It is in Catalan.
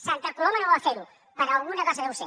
santa coloma no va fer ho per alguna cosa deu ser